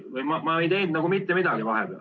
Ma ei teinud mitte midagi vahepeal.